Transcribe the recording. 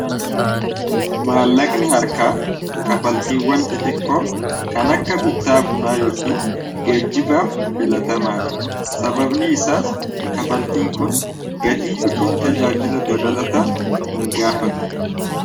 maallaqni harkaa kafaltiiwwan xixiqqoo kan akka bittaa bunaa yookiin geejjibaaf filatamaada sababni isaas kafaltiin kun gatii yookiin tajaajila dabalata hin gaafatu